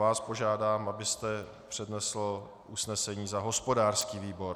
Vás požádám, abyste přednesl usnesení za hospodářský výbor.